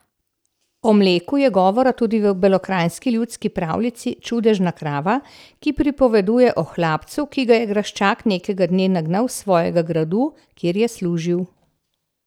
O mleku je govora tudi v belokranjski ljudski pravljici Čudežna krava, ki pripoveduje o hlapcu, ki ga je graščak nekega dne nagnal s svojega gradu, kjer je služil.